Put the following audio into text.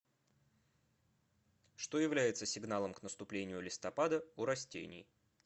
что является сигналом к наступлению листопада у растений